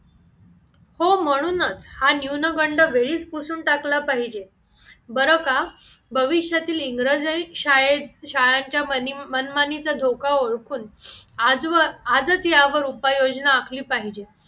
हो म्हणूनच हा न्यूनगंड वेळीच पुसून टाकला पाहिजे बरं का भविष्यातील इंग्रजांनी शाळेत शाळांच्या मनमानीला धोका ओळखून आज वर आजच यावर उपाययोजना आखली पाहिजे